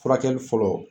Furakɛli fɔlɔ